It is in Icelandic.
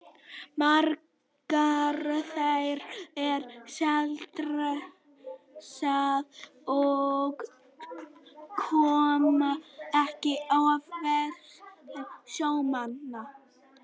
Margar þeirra eru sjaldséðar og koma ekki oft í veiðarfæri sjómanna.